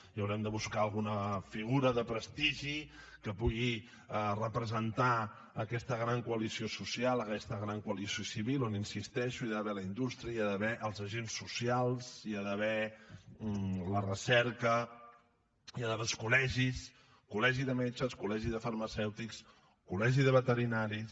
i haurem de buscar alguna figura de prestigi que pugui representar aquesta gran coalició social aquesta gran coalició civil on hi insisteixo hi ha d’haver la indústria hi ha d’haver els agents socials hi ha d’haver la recerca hi ha d’haver els col·legis col·legi de metges col·legi de farmacèutics col·legi de veterinaris